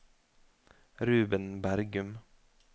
Ruben Bergum